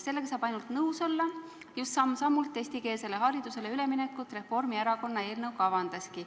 Sellega saab ainult nõus olla, just samm-sammult eestikeelsele haridusele üleminekut Reformierakonna eelnõu kavandaski.